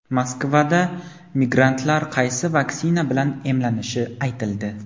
Moskvada migrantlar qaysi vaksina bilan emlanishi aytildi.